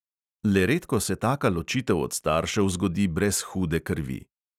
Le redko se taka ločitev od staršev zgodi brez hude krvi.